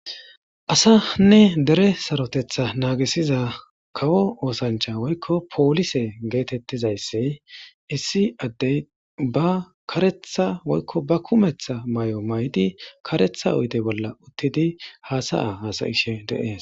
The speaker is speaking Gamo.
asanne dere sarotetha naagisiza kawo oosancha woykko poolise geetettizayssi issi addey ba karetha woykko ba kumeththa may7o may7di karetha oyide bolla uttidi haasa7a hasa7ishe de7es